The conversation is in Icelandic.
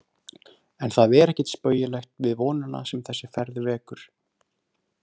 En það er ekkert spaugilegt við vonina sem þessi ferð vekur.